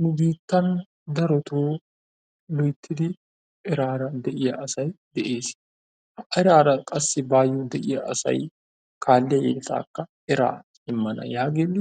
Nu biittan darotoo loyttidi eraara de'iyaa asay de'ess. Eraara qassi baayoo de'iyaa asay kaalliya yeletaakka eraa immana yaagidi